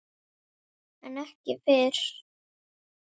En ekki fyrr.